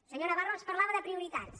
el senyor navarro ens parlava de prioritats